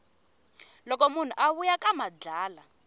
loko munhu a vuya ka madlala